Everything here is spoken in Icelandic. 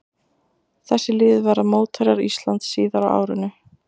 Þessi lið verða mótherjar Íslands síðar á árinu.